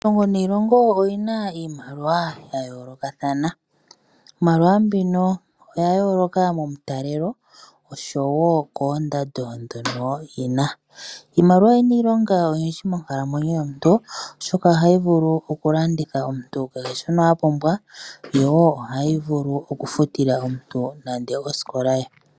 Iilongo oyina iimaliwa ya yoolokathana. Iimaliwa mbika oya yoolokathana momitalelo noshowo oondando ndhoka dhina. Iimaliwa oyina iilonga oyindji monkalamwenyo yomuntu, oshoka oha yovulu oku landela omuntu kehe shimwwe apumbwa, yo oha yi vulu okufutila omuntu nande osikola ye.